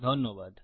ধন্যবাদ